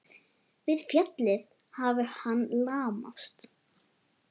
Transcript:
Við fallið hafi hann lamast.